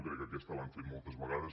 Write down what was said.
crec que aquesta l’han feta moltes vegades